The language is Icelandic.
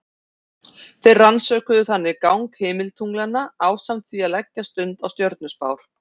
Þeir rannsökuðu þannig gang himintunglanna ásamt því að leggja stund á stjörnuspár.